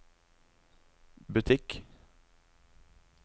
butikk